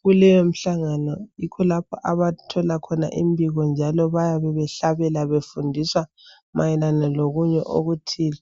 kuleyo mhlangano yikho lapho abathola khona imbiko njalo bayabe behlabela befundiswa mayelana lokunye okuthile.